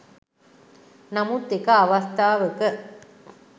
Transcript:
නමුත් එක අවස්ථාවක